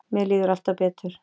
Mér líður alltaf betur.